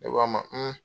Ne ko a ma